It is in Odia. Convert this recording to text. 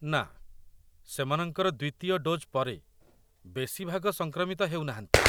ନା, ସେମାନଙ୍କର ଦ୍ୱିତୀୟ ଡୋଜ୍ ପରେ ବେଶୀ ଭାଗ ସଂକ୍ରମିତ ହେଉନାହାନ୍ତି।